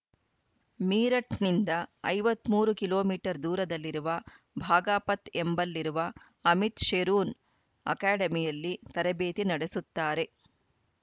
ಮೀರಠ್‌ನಿಂದ ಐವತ್ತ್ ಮೂರು kilometre ದೂರದಲ್ಲಿರುವ ಬಾಘಾಪತ್‌ ಎಂಬಲ್ಲಿರುವ ಅಮಿತ್‌ ಶೇರೊನ್‌ ಅಕಾಡೆಮಿಯಲ್ಲಿ ತರಬೇತಿ ನಡೆಸುತ್ತಾರೆ